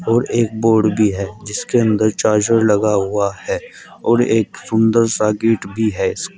और एक बोर्ड भी है जिसके अंदर चार्जर लगा हुआ है और एक सुंदर सा गेट भी है। स् --